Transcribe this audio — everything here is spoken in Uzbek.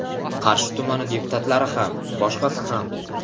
Qarshi tumani deputatlari ham boshqasi ham.